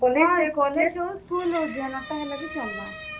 college ହଉ school ହଉ ଯେନର୍ ଟା ହେଲେ ବି ଚଲବା।